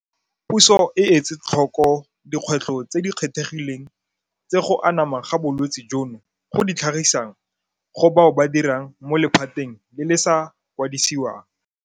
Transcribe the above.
Puso e etsetlhoko dikgwetlho tse di kgethegileng tse go anama ga bolwetse jono go di tlhagisang go bao ba dirang mo lephateng le le sa kwadisiwang.